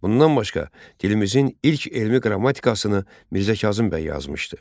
Bundan başqa, dilimizin ilk elmi qrammatikasını Mirzə Kazım bəy yazmışdı.